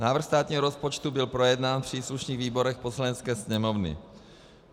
Návrh státního rozpočtu byl projednán v příslušných výborech Poslanecké sněmovny.